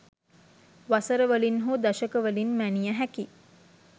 වසර වලින් හෝ දශක වලින් මැනිය හැකි